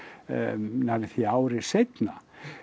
nærri því ári seinna